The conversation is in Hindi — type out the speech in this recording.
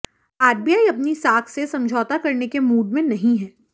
आरबीआई अपनी साख से समझौता करने के मूड में नहीं है